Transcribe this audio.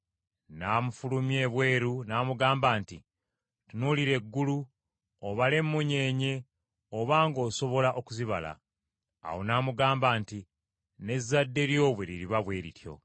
N’amufulumya ebweru n’amugamba nti, “Tunuulira eggulu, obale emunyeenye, obanga osobola okuzibala.” Awo n’amugamba nti, “N’ezzadde lyo bwe liriba bwe lityo.”